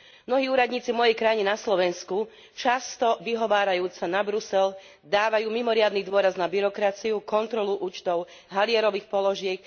Mnohí úradníci v mojej krajine, na Slovensku, často vyhovárajúc sa na Brusel, dávajú mimoriadny dôraz na byrokraciu, kontrolu účtov halierových položiek.